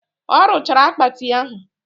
Ọ rụchara akpati ahụ